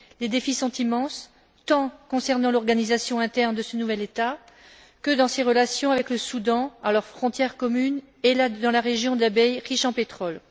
Les défis sont immenses tant concernant l'organisation interne de ce nouvel État que dans ses relations avec le Soudan, à leurs frontières communes et dans la région d'Abyei, riche en pétrole.